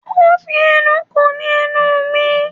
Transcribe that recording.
Ó fi ẹnu ko ní ẹnu mi.